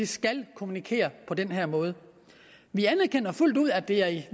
skal kommunikere på den her måde vi anerkender fuldt ud at det er i